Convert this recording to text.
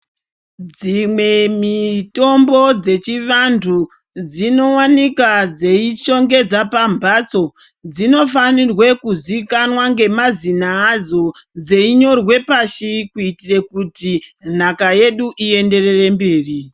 Dzimwe mitombo dzechivantu dzinowanika dzeishongedza pambatso dzinofanirwe kuzikana nemazina adzo, dzeinyorwe pashi kuitire kuti nhaka yedu ienderere mberi.